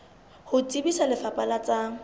ho tsebisa lefapha la tsa